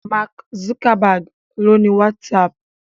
Mark Zuckerberg ló ni WhatsApp.